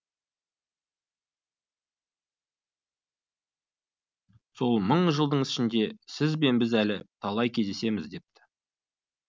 сол мың жылдың ішінде сіз бен біз әлі талай кездесеміз депті